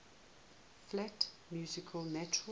flat music natural